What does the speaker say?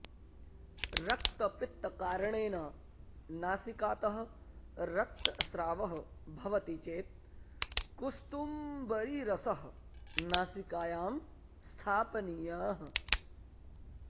रक्तपित्तकारणेन नासिकातः रक्तस्रावः भवति चेत् कुस्तुम्बरीरसः नासिकायां स्थापनीयः